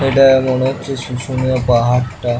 এটা মনে হরচে শুশুনিয়া পাহাড়টা--